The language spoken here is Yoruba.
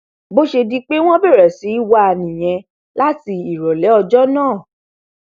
bó ṣe di pé wọn bẹrẹ sí í wá a nìyẹn láti ìrọlẹ ọjọ náà